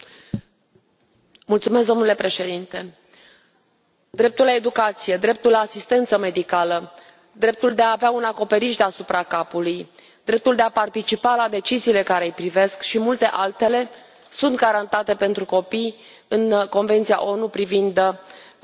Domnule președinte, dreptul la educație, dreptul la asistență medicală, dreptul de a avea un acoperiș deasupra capului, dreptul de a participa la deciziile care i privesc și multe altele sunt garantate pentru copii în Convenția ONU cu privire la drepturile copilului.